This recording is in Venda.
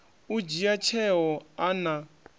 u dzhia tsheo a na